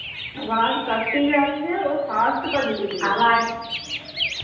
ਆਵਾਜ ਕੱਟ ਹੀਂ ਜਾ ਰਹੀ ਐ ਫਾਸਟ ਭੱਜਦੀ ਪਈ ਐ,